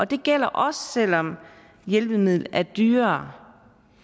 det gælder også selv om hjælpemidlet er dyrere